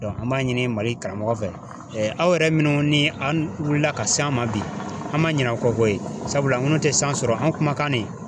an b'a ɲini mali karamɔgɔ fɛ aw yɛrɛ minnu ni an wulila ka s'an ma bi an ma ɲin'a kɔ koyi sabula an ŋun te san sɔrɔ an kuma ne.